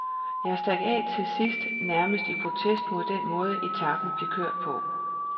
Jeg stak af til sidst nærmest i protest mod den måde, etapen blev kørt på.